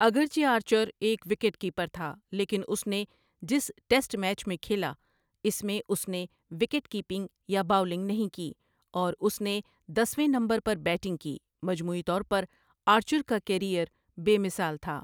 اگرچہ آرچر ایک wicket keeper تھا، لیکن اس نے جس ٹیسٹ میچ میں کھیلا اس میں اس نے وکٹ کیپنگ یا باؤلنگ نہیں کی، اور اس نے دس ویں نمبر پر بیٹنگ کی مجموعی طور پر، آرچر کا کیریئر بے مثال تھا ۔